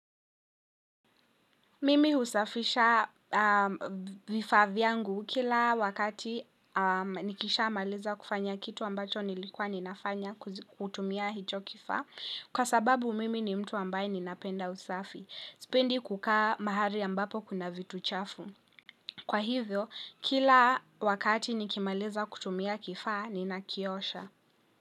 Mimi husafisha vifa vyangu kila wakati nikisha maliza kufanya kitu ambacho nilikuwa ninafanya kutumia hicho kifaa. Kwa sababu mimi ni mtu ambaye ninapenda usafi. Sipendi kukaa mahali ambapo kuna vitu chafu. Kwa hivyo, kila wakati nikimaliza kutumia kifaa, nina kiosha.